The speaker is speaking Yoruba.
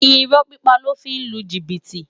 Irò pipá lò fi n lú jibiti